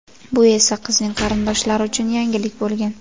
Bu esa qizning qarindoshlari uchun yangilik bo‘lgan.